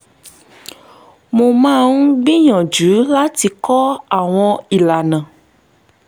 mo máa ń gbìyànjú láti kọ́ àwọn ìlànà